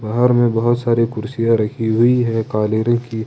बाहर में बहुत सारी कुर्सियां रखी हुई रखी हुई है काले रंग की।